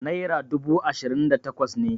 naira dubu ashirin da takwas ne